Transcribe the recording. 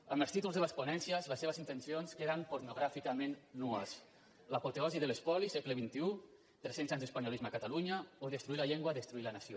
amb els títols de les ponències les seves intencions queden pornogràficament nues l’apoteosi de l’espo·li segle xxitalunya o destruir la llengua destruir la nació